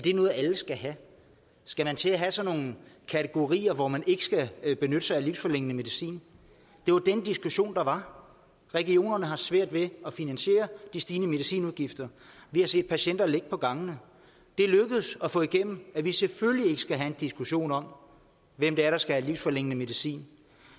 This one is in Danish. det noget alle skal have skal man til at have sådan nogle kategorier hvor man ikke skal benytte sig af livsforlængende medicin det var den diskussion der var regionerne har svært ved at finansiere de stigende medicinudgifter vi har set patienter ligge på gangene det er lykkedes at få igennem at vi selvfølgelig ikke skal have en diskussion om hvem der skal have livsforlængende medicin